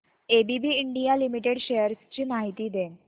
ABB India limited shares ची माहिती दे